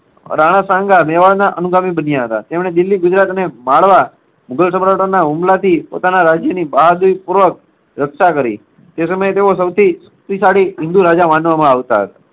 રાણા સાંઘા મેવાડના અનુગામી બન્યા હતા. તેમણે દિલ્લી, ગુજરાત ને માંડવા મુગલ સમ્રાટોના હુમલાથી પોતાના રાજ્યની બહાદુરીપૂર્વક રક્ષા કરી. તે સમયે તેઓ સૌથી શક્તિશાળી હિન્દી રાજા માનવામાં આવતા હતા.